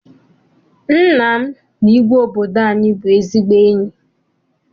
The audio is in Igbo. Nna m na igwe obodo anyị bụ ezigbo enyi.